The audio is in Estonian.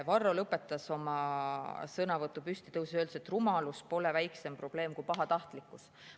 Varro lõpetas oma sõnavõtu püsti tõustes ja öeldes, et rumalus pole väiksem probleem kui pahatahtlikkus.